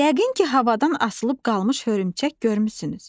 Yəqin ki, havadan asılıb qalmış hörümçək görmüsünüz.